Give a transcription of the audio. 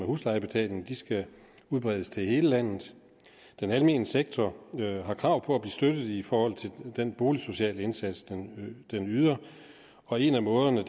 huslejebetaling skal udbredes til hele landet den almene sektor har krav på at støttet i forhold til den boligsociale indsats den yder og en af måderne